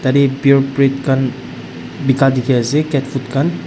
yadae pure breed khan beka dekhi ase cat food khan.